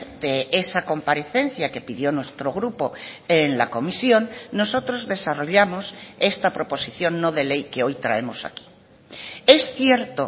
de esa comparecencia que pidió nuestro grupo en la comisión nosotros desarrollamos esta proposición no de ley que hoy traemos aquí es cierto